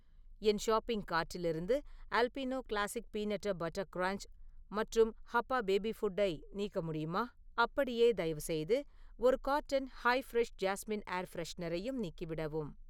என் shopping கார்ட்டிலிருந்து Albino classic peanut butter crunch மற்றும் Happa baby ஃபுட்டை நீக்க முடியுமா? அப்படியே, தயவுசெய்து ஒரு கார்ட்டன் ஹைய்-ஃப்ரெஷ் ஜாஸ்மின் ஏர் ஃப்ரெஷனரையும் நீக்கிவிடவும்.